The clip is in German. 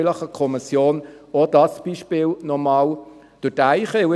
Vielleicht könnte die Kommission auch dieses Beispiel noch einmal durchdenken.